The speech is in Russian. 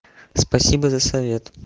спасибо за совет